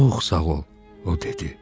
Çox sağ ol, o dedi.